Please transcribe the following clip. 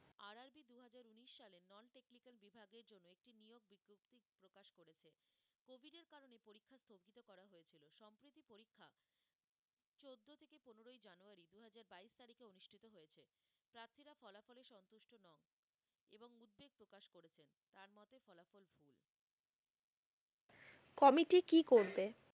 committee কি করবে